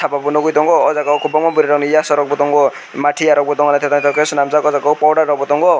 obo nogoi tango ojagao o kobangma boroi ni yasa rokbo tango matiya rok bo tango tetal tetal ke selamjak powder rok bo tango.